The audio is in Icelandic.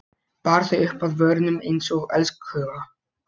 Bar þau upp að vörunum einsog elskhuga.